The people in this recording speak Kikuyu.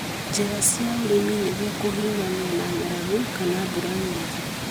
njĩra cia ũrĩmi nĩguo kũhiũrania na ng'aragu kana mbura nyingĩ.